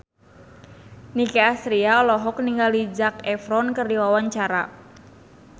Nicky Astria olohok ningali Zac Efron keur diwawancara